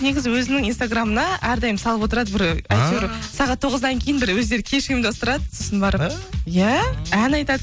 негізі өзінің инстаграмына әрдайым салып отырады бір әйтеуір сағат тоғыздан кейін бір өздері кеш ұйымдастырады сосын барып иә ән айтады